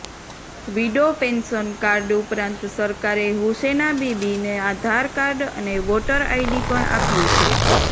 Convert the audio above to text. widow pension card ઉપરાંત સરકારે હુસેનાબીબીને આધાર કાર્ડ અને વોટર આઈડી પણ આપ્યું છે